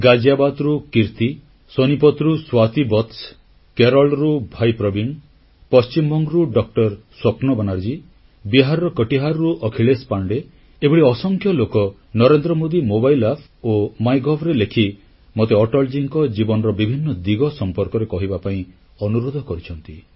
ଗାଜିଆବାଦରୁ କିର୍ତ୍ତୀ ସୋନିପତ୍ ରୁ ସ୍ୱାତି ବତ୍ସ କେରଳରୁ ଭାଇ ପ୍ରବୀଣ ପଶ୍ଚିମବଙ୍ଗରୁ ଡ ସ୍ୱପନ ବାନାର୍ଜୀ ବିହାରର କଟିହାରରୁ ଅଖିଳେଶ ପାଣ୍ଡେ ଏଭଳି ଅସଂଖ୍ୟ ଲୋକ ନରେନ୍ଦ୍ର ମୋଦୀ ମୋବାଇଲ ଆପ୍ ଓ ମାଇଗଭରେ ଲେଖି ମୋତେ ଅଟଳଜୀଙ୍କ ଜୀବନର ବିଭିନ୍ନ ଦିଗ ସମ୍ପର୍କରେ କହିବା ପାଇଁ ଅନୁରୋଧ କରିଛନ୍ତି